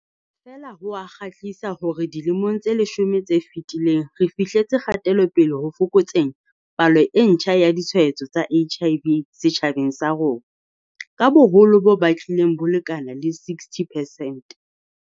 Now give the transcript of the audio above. Feela, ho a kgothatsa hore dilemong tse leshome tse fetileng re fihletse kgatelopele ho fokotseng palo e ntjha ya ditshwaetso tsa HIV setjhabeng sa rona ka boholo bo batlileng bo lekana le 60 percent.